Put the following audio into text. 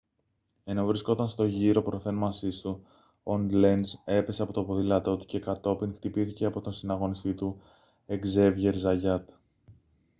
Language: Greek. ενώ βρισκόταν στον γύρο προθέρμανσής του ο λένζ έπεσε από το ποδήλατό του και κατόπιν χτυπήθηκε από τον συναγωνιστή του εκζέβιερ ζαγιάτ